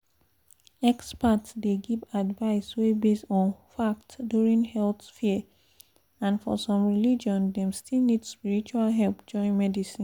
experts dey give advice wey base on fact during health fear and for some religion dem still need spiritual help join medicine.